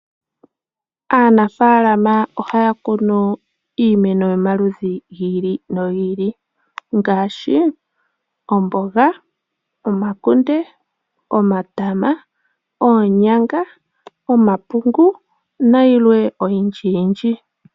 Aanafalama oha ya kunu iimeno yomaludhi giili no giili ngaashi omboga, omakunde, omatama, oonyanga, omapungu na yilwe oyindji yindji.